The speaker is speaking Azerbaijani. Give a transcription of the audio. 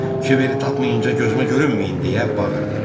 Kiberi tapmayınca gözümə görünməyin deyə bağırdı.